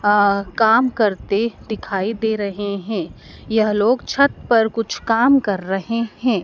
अ काम करते दिखाई दे रहे हैं यह लोग छत पर कुछ काम कर रहे हैं।